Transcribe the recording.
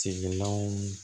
Sigilanw